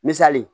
Misali